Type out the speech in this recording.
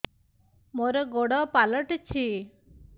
ମୋର ଗୋଡ଼ ପାଲଟିଛି